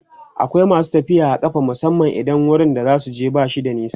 akwai masu tafiya a ƙafa musamman idan wurin da zasuje bashi da nisa